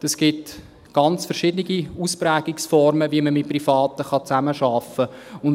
Es gibt ganz verschiedene Ausprägungsformen, wie man mit Privaten zusammenarbeiten kann.